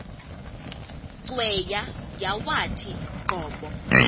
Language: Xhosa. cweya yawathi qobo